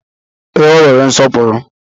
Ee, o nwere nsọpụrụ.